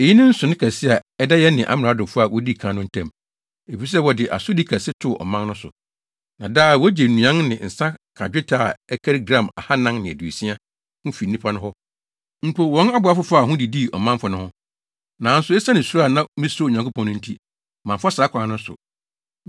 Eyi ne nsonoe kɛse a ɛda yɛne amradofo a wodii kan no ntam, efisɛ wɔde asodi kɛse too ɔmanfo no so. Na daa wogye nnuan ne nsa ka dwetɛ a ɛkari gram ahannan ne aduosia (460) ho fi nnipa no hɔ. Mpo, wɔn aboafo faa ho didii ɔmanfo no ho. Nanso esiane suro a na misuro Onyankopɔn no nti, mamfa saa kwan no so.